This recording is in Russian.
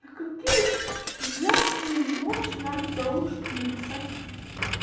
на какие же жертвы идёшь ради того чтобы написать